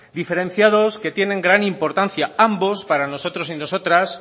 diferenciados que tienen gran importancia ambos para nosotros y nosotras